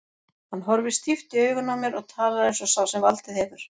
Hann horfir stíft í augun á mér og talar eins og sá sem valdið hefur.